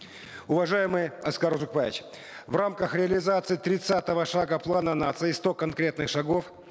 уважаемый аскар узакбаевич в рамках реализации тридцатого шага плана нации сто конкретных шагов